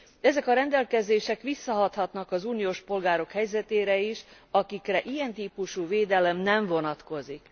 Ezek a rendelkezések visszahathatnak az uniós polgárok helyzetére is, akikre ilyen típusú védelem nem vonatkozik.